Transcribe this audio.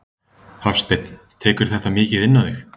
Hafsteinn: Tekurðu þetta mikið inn á þig?